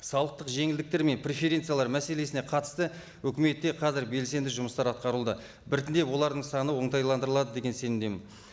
салықтық жеңілдіктер мен преференциялар мәселесіне қатысты өкіметте қазір белсенді жұмыстар атқаруда біртіндеп олардың саны оңтайландырылады деген сенімдемін